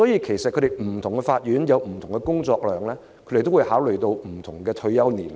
其實不同法院有不同的工作量，他們會按此考慮不同的退休年齡。